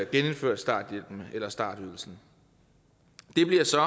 genindført starthjælpen eller startydelsen det bliver så